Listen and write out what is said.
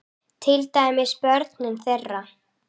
Til dæmis börnin þeirra.